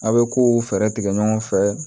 A' bɛ kow fɛɛrɛ tigɛ ɲɔgɔn fɛ